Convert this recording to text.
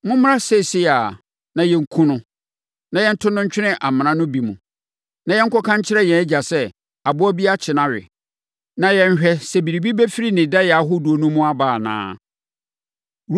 Mommra seesei ara, na yɛnkum no, na yɛnto no ntwene amena no bi mu, na yɛnkɔka nkyerɛ yɛn agya sɛ, aboa bi akye no awe, na yɛnhwɛ sɛ biribi bɛfiri ne daeɛ ahodoɔ no mu aba anaa.”